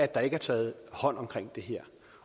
der ikke er taget hånd om det her